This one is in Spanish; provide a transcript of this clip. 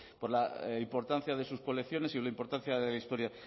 por la importancia de sus colecciones y la importancia de la historia